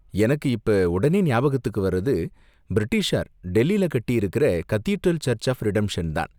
எனக்கு இப்ப உடனே ஞாபகத்துக்கு வரது, பிரிட்டிஷார் டெல்லில கட்டி இருக்குற கதீட்ரல் சர்ச்சு ஆஃப் ரிடெம்ஷன்தான்.